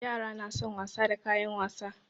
Yara na son wasa da kayan wasa.